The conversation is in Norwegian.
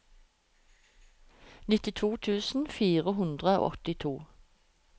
nittito tusen fire hundre og åttito